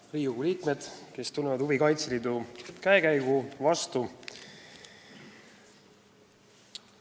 Head Riigikogu liikmed, kes te tunnete huvi Kaitseliidu käekäigu vastu!